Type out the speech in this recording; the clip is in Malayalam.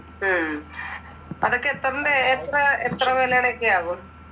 ഉം അതൊക്കെ എത്രിന്റെ, എത്ര, എത്ര വിലയുടെ ആവും?